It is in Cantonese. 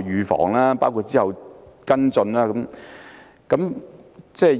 預防工作及之後的跟進工作。